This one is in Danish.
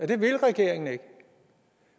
det vil regeringen ikke